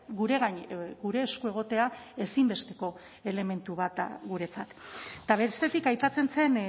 gure gain gure esku egotea ezinbesteko elementu bat da guretzat eta bestetik aipatzen zen